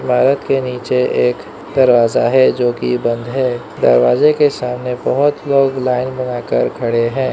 इमारत के नीचे एक दरवाजा है जो कि बंद है दरवाजे के सामने बहोत लोग लाइन बनाकर खड़े हैं।